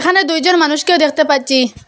এখানে দুইজন মানুষকেও দেখতে পাচ্ছি।